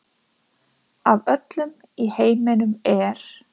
Af öllum í heiminum er